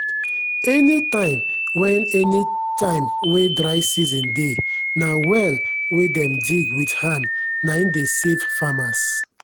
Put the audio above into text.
any tim wen any tim wen dry season dey na well wen dem dig wit hand nai dey save farmers.